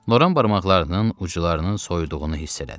Loran barmaqlarının uclarının soyuduğunu hiss elədi.